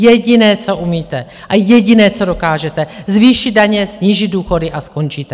Jediné, co umíte, a jediné, co dokážete: zvýšit daně, snížit důchody a skončíte.